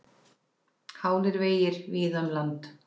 Hálir vegir víða um land